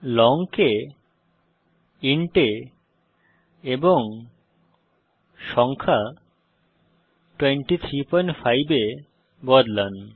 long কে int এ এবং সংখ্যা 235 এ বদলান